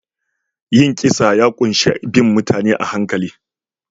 Yin kisa ya ƙunshi bin mutane a hankali